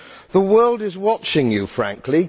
The world is watching you, frankly.